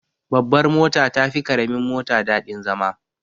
Babbar mota tafi karamin mota daɗin zama.